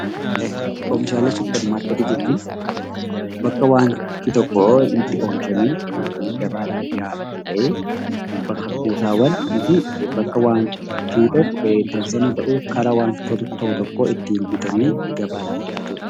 Oomishaalee supermarketii jechuun bakka wanti tokko itti oomishamee gabaadhaaf dhiyaatu ta'ee bakka kuusawwanii fi bakka waan tokko ittii bitamu ta'ee gabaaf dhiyaatuu dha.